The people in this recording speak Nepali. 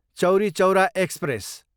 चौरी चौरा एक्सप्रेस